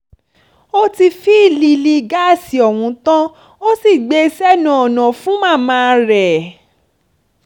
ó ti fìlílì gáàsì ọ̀hún tán ó sì gbé e sẹ́nu ọ̀nà fún màmá rẹ̀